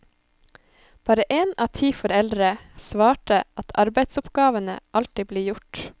Bare en av ti foreldre svarte at arbeidsoppgavene alltid blir gjort.